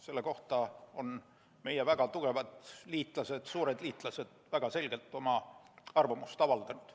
Selle kohta on meie väga tugevad liitlased, suured liitlased väga selgelt oma arvamust avaldanud.